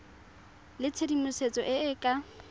le tshedimosetso e e ka